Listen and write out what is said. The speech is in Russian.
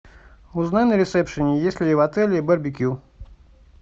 узнай на ресепшене есть ли в отеле барбекю